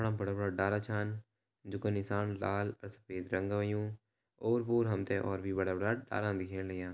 बड़ा-बड़ा डाला छन जूँका निसान लाल और सफ़ेद रंगा हुयूं और-पोर हमते और भी बड़ा-बड़ा डाला दिख्याणा लाग्यां।